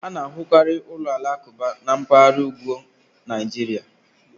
A na-ahụkarị ụlọ alakụba na mpaghara ugwu Naịjirịa